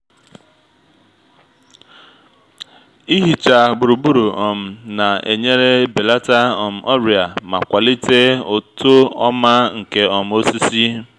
ịhicha gburugburu um na-enyere belata um ọrịa ma kwalite uto ọma nke um osisi